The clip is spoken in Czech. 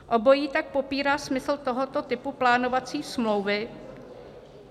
Obojí tak popírá smysl tohoto typu plánovací smlouvy.